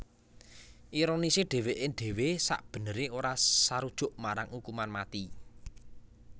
Ironisé dhèwèké dhéwé sakbeneré ora sarujuk marang ukuman mati